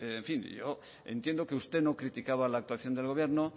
en fin yo entiendo que usted no criticaba la actuación del gobierno